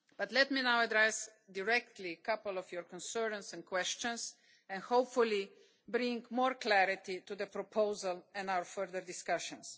Let me now directly address a few of your concerns and questions and hopefully bring more clarity to the proposal and our further discussions.